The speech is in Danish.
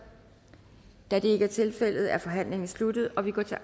da det ikke er tilfældet er forhandlingen sluttet og vi går til